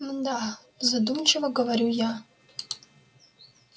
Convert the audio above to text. мда задумчиво говорю я